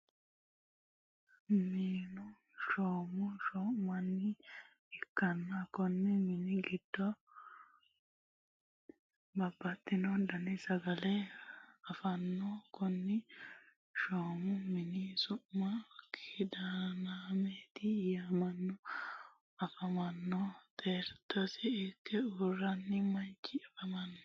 minnu shoo'mo shoo'minaniwa ikanna konni minni giddo babaxitino danni sagalle afanitanno konni shoo'mu minni su'minno kidaannemihireti yaamamano nafaranno xexerisa irikire uurinno manchi afamanno.